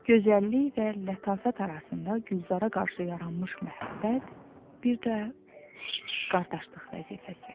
Gözəllik və lətafət arasında Gülzara qarşı yaranmış məhəbbət, bir də qardaşlıq vəzifəsi.